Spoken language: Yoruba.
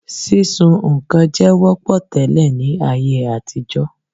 Sísun nǹkan jẹ wọ́pọ̀ tẹ́lẹ̀ ní ayé àtijọ́